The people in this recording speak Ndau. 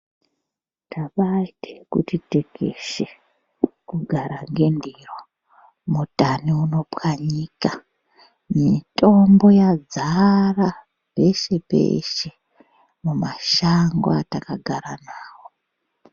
Tabaaite kuti tekeshe kugara ngendiro, mutani unopwanyika, mitombo yadzara peshe-peshe mumashango etakagara nawo.